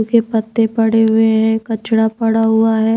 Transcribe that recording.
सूखे पत्ते पड़े हुए हैं कचड़ा पड़ा हुआ है।